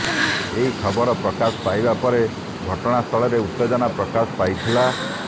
ଏହି ଖବର ପ୍ରକାଶ ପାଇବା ପରେ ଘଟଣା ସ୍ଥଳରେ ଉତ୍ତେଜନା ପ୍ରକାଶ ପାଇଥିଲା